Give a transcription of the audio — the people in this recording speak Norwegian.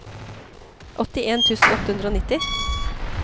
åttien tusen åtte hundre og nitti